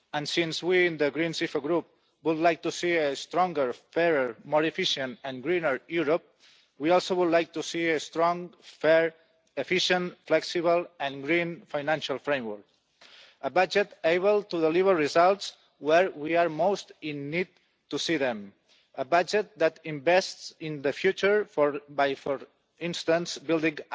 Since we in the Greens EFA Group would like to see a stronger, fairer, more efficient and greener Europe, we would also like to see a strong, fair, efficient, flexible and green financial framework, a budget able to deliver results where we are most in need of them, a budget that invests in the future for instance by building